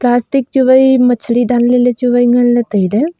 plastic chu wai machli danley chuwai nganley tailey.